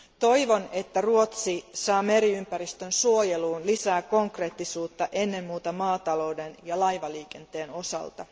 Toivon, että Ruotsi saa meriympäristön suojeluun lisää konkreettisuutta ennen muuta maatalouden ja laivaliikenteen osalta.